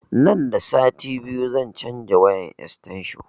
Nan da sati biyu zan canza wayan estensho